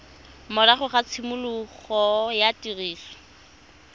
morago ga tshimologo ya tiriso